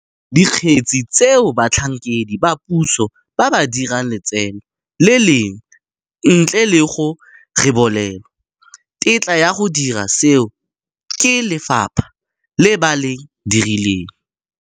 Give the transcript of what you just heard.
Dikgetse tseo batlhankedi ba puso ba ba dirang letseno le lengwe ntle le go rebolelwa tetla ya go dira seo ke lefapha le ba le direlang.